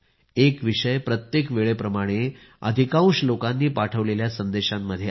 एक विषय प्रत्येकवेळेप्रमाणे अधिकांश लोकांनी पाठवलेल्या संदेशांमध्ये आहे